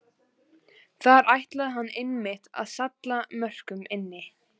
Þar ætlaði hann einmitt að salla mörkunum inn!